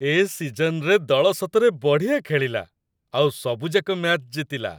ଏ ସିଜନ୍‌ରେ ଦଳ ସତରେ ବଢ଼ିଆ ଖେଳିଲା, ଆଉ ସବୁଯାକ ମ୍ୟାଚ୍ ଜିତିଲା ।